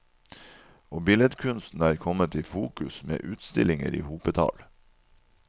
Og billedkunsten er kommet i fokus, med utstillinger i hopetall.